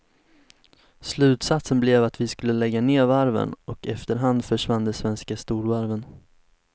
Slutsatsen blev att vi skulle lägga ner varven, och efterhand försvann de svenska storvarven.